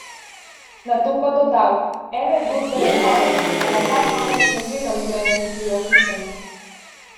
Nato pa dodal: 'Ene zgodbe je konec, a na ta konec ne gledam z grenkim priokusom.